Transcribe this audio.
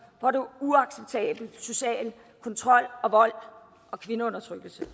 hvor der er uacceptabel social kontrol og vold og kvindeundertrykkelse